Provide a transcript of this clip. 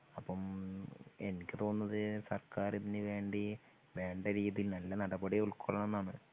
അപ്പം എനിക്ക് തോന്നുന്നത് സർക്കാർ ഇതിനു വേണ്ടി വേണ്ട രീതിയിൽ നല്ല നടപടി ഉൾക്കൊള്ളണന്നാണ്